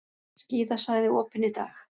Skíðasvæði opin í dag